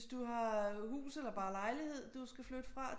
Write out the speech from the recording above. Hvis du har hus eller bare lejlighed du skal flytte fra